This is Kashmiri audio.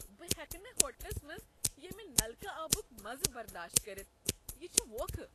بہٕ ہیٚکہٕ نہٕ ہوٹلس منٛز ییمِہ نلکہٕ آبک مزٕ برداشت کٔرتھ، یہ چھ ووکھٕ۔